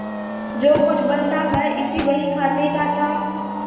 जो कुछ बल था वह इसी बहीखाते का था